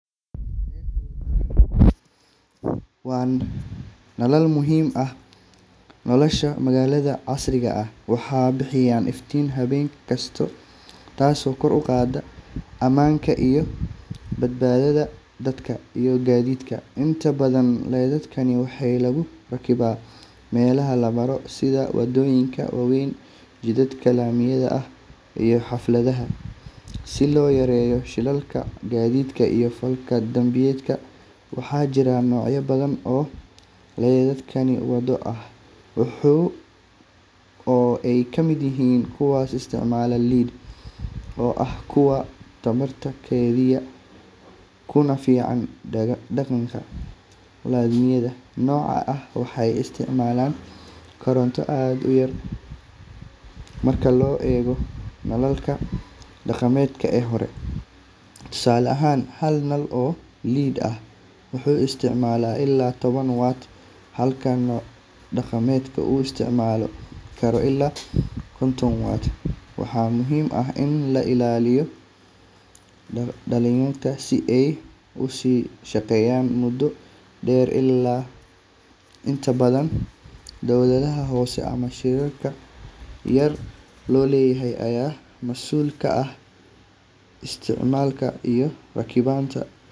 Laydhadhka waddooyinka waa nalal muhiim u ah nolosha magaalada casriga ah. Waxay bixiyaan iftiin habeenkii, taasoo kor u qaadda ammaanka iyo badbaadada dadka iyo gaadiidka. Inta badan laydhadhkan waxaa lagu rakibaa meelaha la maro sida waddooyinka waaweyn, jidadka laamiyada ah, iyo xaafadaha si loo yareeyo shilalka gaadiidka iyo falalka dambiyada. Waxaa jira noocyo badan oo laydhadh waddo ah, kuwaas oo ay ka mid yihiin kuwa isticmaala LED oo ah kuwa tamarta kaydiya kuna fiican deegaanka. Laydhadhka noocan ah waxay isticmaalaan koronto aad u yar marka loo eego nalalka dhaqameed ee hore. Tusaale ahaan, hal nal oo LED ah wuxuu isticmaalaa ilaa toban wat halka nal dhaqameed uu isticmaali karo ilaa konton wat. Waxaa muhiim ah in la ilaaliyo laydhadhkan si ay u sii shaqeeyaan muddo dheer. Inta badan dawladaha hoose ama shirkado gaar loo leeyahay ayaa mas’uul ka ah dayactirka iyo rakibidda.